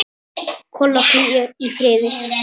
Kolla, hvíl í friði.